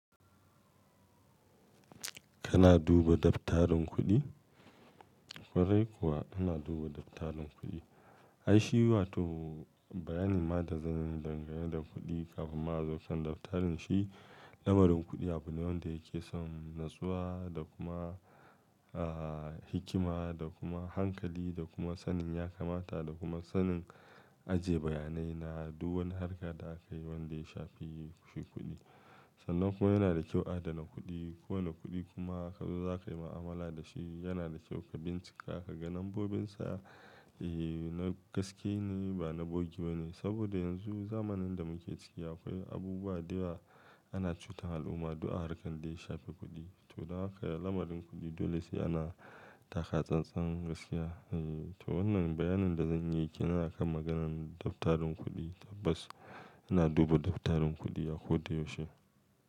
Kana duba daftarin kuɗi? Kwarai kuwa ana duba daftarin kuɗi. Aishi waton, bayanin ma da zanyi danga yanda kuɗi kafin ma zo kan daftarin shi, lamarin kuɗi a bulon da yake son natsuwa da kuma, ah, hikima da kuma hankali da kuma sanin ya kamata da kuma sanin ajiye bayanai na duk wani harka da aka yi wanda ya shafi shi kuɗi. Sannan kuwa yana da kyau adana kuɗi. Kowane kuɗi kuma ka zo za ka yi mu'amala da shi, yana da kyau ka bincika ka ga lambobinsa, eh, na gaske ne ba na bogewa ne. Saboda yanzu zamanin da muke ciki akwai abubuwa da yawa Ana cutar al'umma duk a harkar da ya shafi kuɗi. To, don haka lamarin kuɗi dole sai ana, taka tsantsan gaskiya. Eh, to wannan bayanin da zan yi kenan a kan maganan daftarin kuɗi tabbas ina dub, daftarin kuɗi a ko da yaushe.